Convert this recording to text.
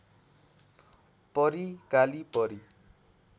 परी काली परी